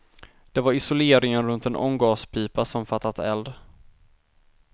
Det var isoleringen runt en ånggaspipa som fattat eld.